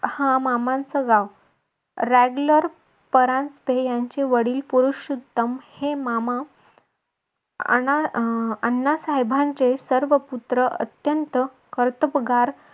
हा मामांचं गाव रॅंग्लर परांजपे यांचे वडील पुरुषोत्तम हे मामा अह आण्णा साहेबांचे सर्व पुत्र अत्यंत कर्तबगार